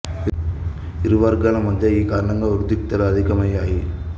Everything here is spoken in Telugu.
ఇరు వర్గాల మద్య ఈ కారణంగా ఉద్రిక్తతలు అధికం అయ్యాయి